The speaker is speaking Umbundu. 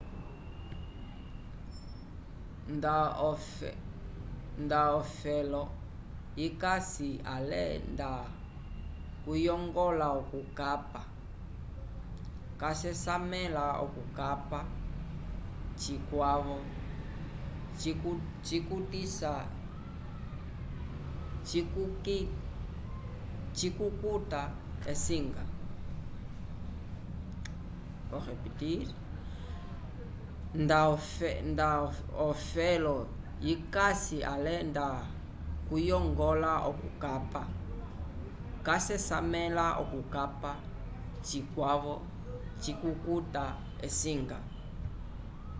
nda ofelo yikasi ale nda kuyongola okukapa casesamela okukapa cikwavo cikukuta esinga